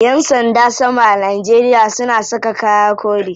Yan sanda sama a Najeria suna saka kaya kore.